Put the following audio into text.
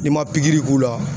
Ni ma pikiri k'u la